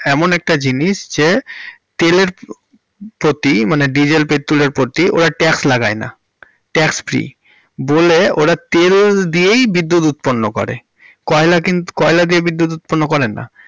এমন একটা জিনিস যে তেলের প্রতি মানে dieselpetrol এর প্রতি ওরা tax লাগায় না, tax free বলে ওরা তেল দিয়েই বিদ্যুৎ উৎপন্ন করে, কয়লা কিন্তু, কয়লা দিয়ে বিদ্যুৎ উৎপন্ন করে না।